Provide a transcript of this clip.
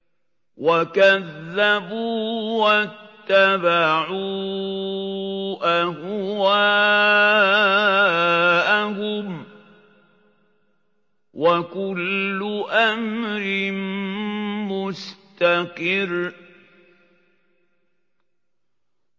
وَكَذَّبُوا وَاتَّبَعُوا أَهْوَاءَهُمْ ۚ وَكُلُّ أَمْرٍ مُّسْتَقِرٌّ